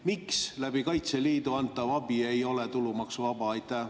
Miks Kaitseliidu kaudu antav abi ei ole tulumaksuvaba?